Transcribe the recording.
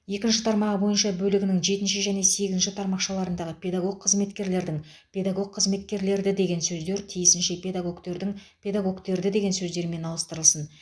екінші тармағы бойынша бөлігінің жетінші және сегізінші тармақшаларындағы педагог қызметкерлердің педагог қызметкерлерді деген сөздер тиісінше педагогтердің педагогтерді деген сөздермен ауыстырылсын